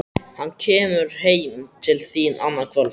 Hann kemur heim til þín annað kvöld